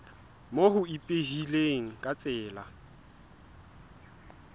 moo ho ipehilweng ka tsela